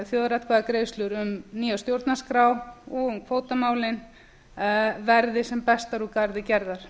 þjóðaratkvæðagreiðslu um nýja stjórnarskrá og um kvótamálin verði sem bestar úr garði gerðar